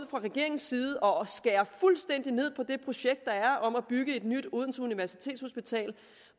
regeringens side og skærer fuldstændigt ned på det projekt der er om at bygge et nyt odense universitetshospital